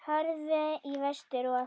Horfðu í vestur og.